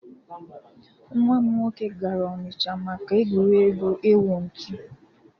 Nwa m nwoke gara ọnịcha maka egwuregwu ịwụ ntụ.